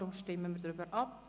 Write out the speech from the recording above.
darum stimmen wir darüber ab.